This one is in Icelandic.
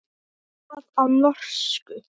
Og það á norsku.